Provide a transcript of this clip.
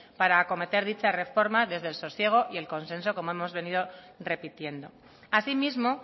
para acometer dicha reforma desde el sosiego y el consenso como hemos venido repitiendo asimismo